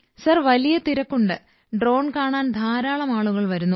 sir വലിയ തിരക്കുണ്ട് drone കാണാൻ ധാരാളം ആളുകൾ വരുന്നു